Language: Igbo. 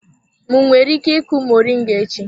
M nwere ike ịku moringa echi?